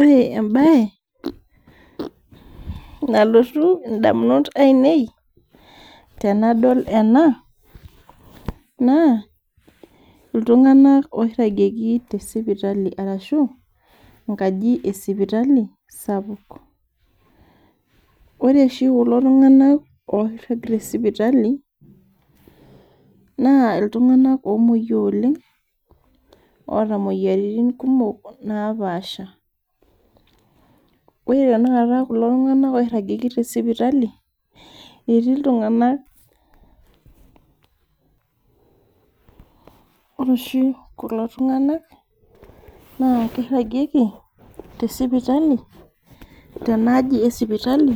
Ore ebaye nalotuu ndamunot enie tenadol ena naa ltung'anak oragekii te sipitali arashu nkaaji e sipitali sapuk. Ore shii kuloo ltung'anak oragii te sipitali na ltung'anak omoiyoo oleng oeta moyiaritin kumook napaasha. Ore tene nkaata kuloo ltung'anak oragekii te sipitali etii ltung'ana ore shii kuloo ltung'anak naa keragekii te sipitali tana aaji e sipitali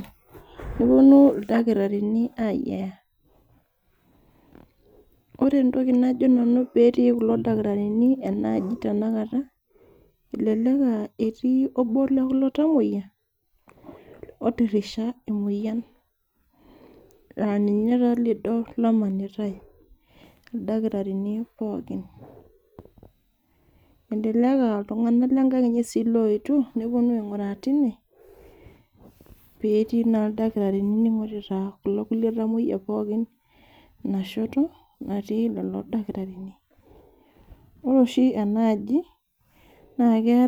neponuu ldataarin eyeyaa. Ore ntokii najoo nanu pee etii kuloo ldaatarini ena aaji tena nkaata elelek aa etii oboo lo kuloo ltamoyiaa otirisha emoyian laa ninyee taa lidoo loimanitai ldaatarini pookin, elelek aa ltung'ana le nkaang' enchee sii loetio neponuu aiguraa tenia pee etii naa ldaatarini loing'oritaa kuloo kulee tamoyiak pookin naashotoo natii kuloo ldaatarini. Ore shii ena aaji naa kee.